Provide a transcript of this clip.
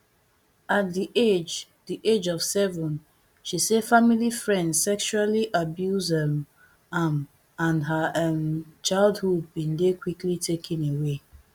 at di age di age of seven she say family friend sexually abuse um am and her um childhood bin dey quickly taken away